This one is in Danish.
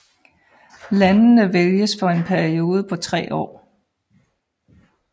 Landene vælges for en periode på tre år